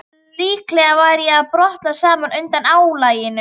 Líklega var ég að brotna saman undan álaginu.